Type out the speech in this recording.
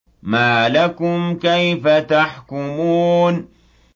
مَا لَكُمْ كَيْفَ تَحْكُمُونَ